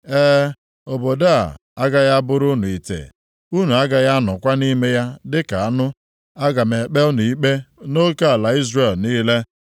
E, obodo a agaghị abụrụ unu ite. Unu agaghị anọkwa nʼime ya dịka anụ. Aga m ekpe unu ikpe nʼoke ala Izrel niile.